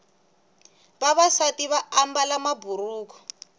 vavasati vaambala maburuku